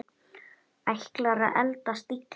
Ætlar að eldast illa.